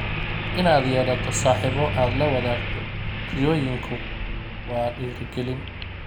Inaad yeelato saaxiibo aad la wadaagto riyooyinku waa dhiirigelin.